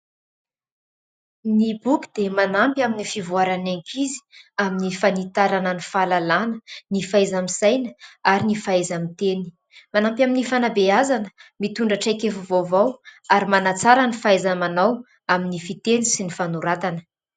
Ny boky dia manampy amin'ny fivoarany ankizy amin'ny fanitarana ny fahalalàna : ny fahaiza- misaina ary ny fahaiza-miteny. Manampy amin'ny fanabeazana mitondra traikefa vaovao ary manantsara ny fahaiza-manao amin'ny fiteny sy ny fanoratana.